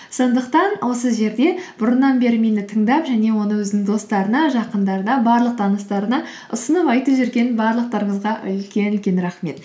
сондықтан осы жерде бұрыннан бері мені тыңдап және оны өзінің достарына жақындарына барлық таныстарына ұсынып айтып жүрген барлықтарыңызға үлкен үлкен рахмет